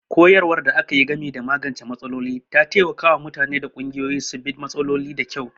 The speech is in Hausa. Koyarwar da aka yi game da magance matsaloli ta taimaka wa mutane da ƙungiyoyi su bi da matsaloli da kyau.